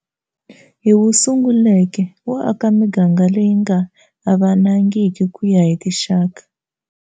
Hi wu sunguleke wo aka miganga leyi nga avanangiki ku ya hi tinxaka.